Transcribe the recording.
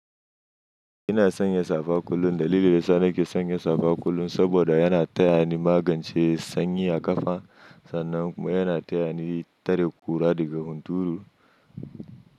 Ina sanya safa kullum dalilin yasa nake sanya safa kullum saboda yana tayani magance sanyi a ƙafa sannan kuma yana taya ni tare ƙura daga hunturu.